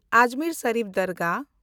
ᱟᱡᱢᱮᱨ ᱥᱮᱱᱰᱤᱯ ᱫᱮᱱᱰᱜᱟᱦ